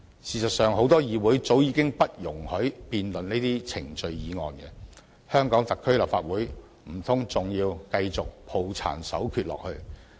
事實上，很多議會早已不容提出辯論程序的議案，香港特區立法會難道還要抱殘守缺下去？